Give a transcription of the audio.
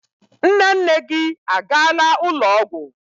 Nne nne gị a gaala ụlọ ọgwụ.